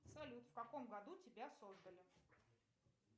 салют в каком году тебя создали